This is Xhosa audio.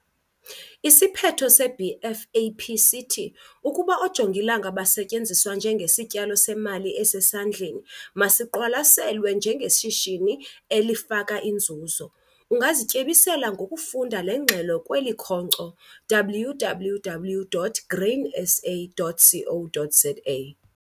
Isiphetho se-BFAP sithi 'ukuba oojongilanga basetyenziswa njengesityalo semali esesandleni, masiqwalaselwe njengeshishini esifaka inzuzo'. Ungazityebisela ngokufunda le ngxelo kweli khonkco, www.grainsa.co.za